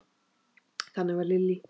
Þannig var Lillý.